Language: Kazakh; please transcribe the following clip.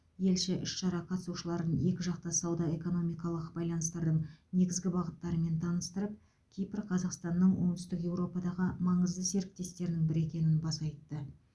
елші іс шара қатысушыларын екіжақты сауда экономикалық байланыстардың негізгі бағыттарымен таныстырып кипр қазақстанның оңтүстік еуропадағы маңызды серіктестерінің бірі екенін баса айтты